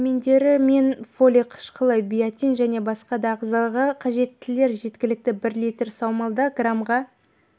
дәрімендері мен фоли қышқылы биотин және басқа да ағзаға қажеттіліктер жеткілікті бір литр саумалда граммға